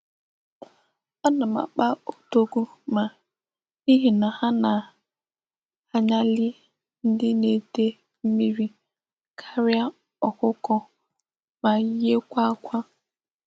Ana m akpa odogwuma n'ihi na ha na-anyali ndi n'ide mmiri karia okuko ma yiekwa akwa.